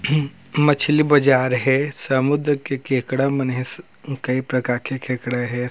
मछली बाजार है समुद्र के केकडा मन है कई प्रकार के केकाड हे ।